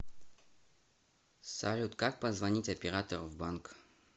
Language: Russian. салют как позвонить оператору в банк